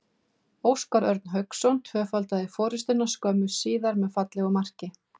Óskar Örn Hauksson tvöfaldaði forystuna skömmu síðar með fallegu marki.